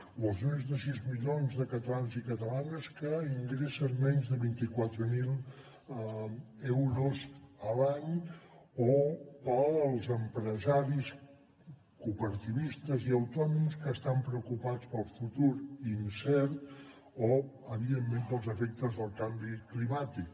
o als més de sis milions de catalans i catalanes que ingressen menys de vint quatre mil euros a l’any o pels empresaris cooperativistes i autònoms que estan preocupats pel futur incert o evidentment pels efectes del canvi climàtic